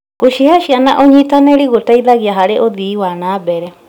Gũcihe ciana ũnyitanĩri gũteithagia harĩ ũthii wa na mbere.